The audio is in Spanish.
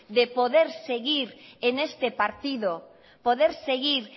de poder seguir en este partido poder seguir